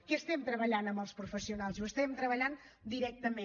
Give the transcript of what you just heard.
què estem treballant amb els professionals ho estem treballant directament